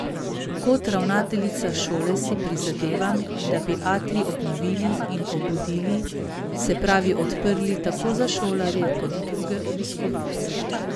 Kot ravnateljica šole si prizadevam, da bi atrij obnovili in obudili, se pravi odprli tako za šolarje kot druge obiskovalce.